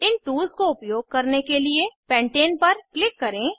इन tools को उपयोग करने के लिए पेंटाने पर क्लिक करें